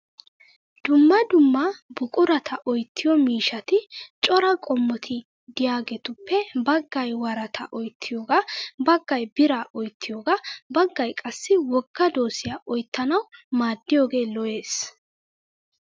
Dumma dumma buqurata oyittiyo miishshati cora qommoti diyageetuppe baggay worataa oyittiyoogaa, baggay biraa oyittiyogaa, baggay qassi wogga doosiya oyittanawu maaddiyoge lo'es.